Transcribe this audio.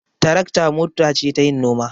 Tarakta mota ce tayin noma.